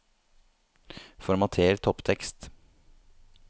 Formater topptekst